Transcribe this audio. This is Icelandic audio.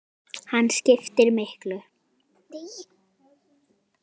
Hann skiptir miklu.